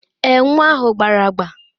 Èè, nwa ahụ gbara agba.